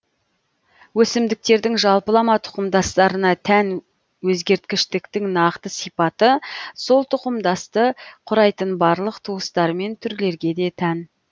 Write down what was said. өсімдіктердің жалпылама тұқымдастарына тән өзгерткіштіктің нақты сипаты сол тұқымдасты құрайтын барлық туыстар мен түрлерге де тән